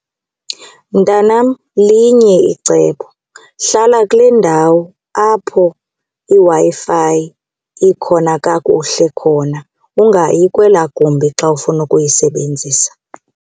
Mntanam, linye icebo. Hlala kule ndawo apho iWi-Fi ikhona kakuhle khona ungayi kwelaa gumbi xa ufuna ukuyisebenzisa.